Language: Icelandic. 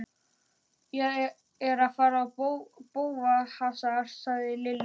Ég er að fara í bófahasar sagði Lilla.